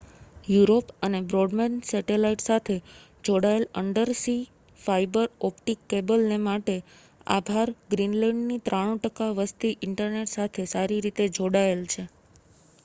Europe અને broadband satellite સાથે જોડાયેલ અન્ડરસી ફાઇબર ઓપ્ટિક કેબલને માટે આભાર ગ્રીનલેન્ડની 93% વસ્તી ઇન્ટરનેટ સાથે સારી રીતે જોડાયેલ છે